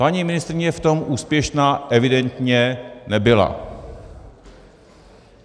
- Paní ministryně v tom úspěšná evidentně nebyla.